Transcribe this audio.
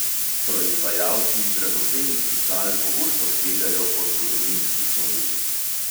Proizvajalci dragocenih pisal pogosto segajo po zgodovinskih modelih.